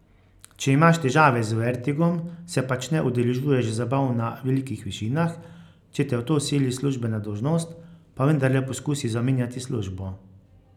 Če imaš težave z vertigom, se pač ne udeležuješ zabav na velikih višinah, če te v to sili službena dolžnost, pa vendarle poskusi zamenjati službo.